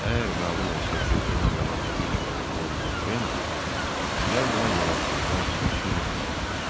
Əgər məlum olsa ki, ölüm yalan həqiqətən bizim Votrendir, mən buna görə sizdən 3000 frank alacam.